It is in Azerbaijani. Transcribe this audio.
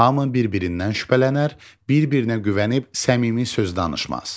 Hamı bir-birindən şübhələnər, bir-birinə güvənib səmimi söz danışmaz.